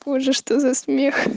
позже что за смех